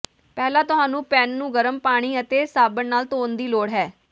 ਪਹਿਲਾਂ ਤੁਹਾਨੂੰ ਪੈਨ ਨੂੰ ਗਰਮ ਪਾਣੀ ਅਤੇ ਸਾਬਣ ਨਾਲ ਧੋਣ ਦੀ ਲੋੜ ਹੈ